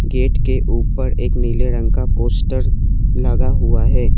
Gate के ऊपर एक नीले रंग का पोस्टर लगा हुआ है।